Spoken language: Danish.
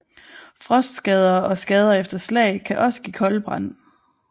Frostskader og skader efter slag kan også give koldbrand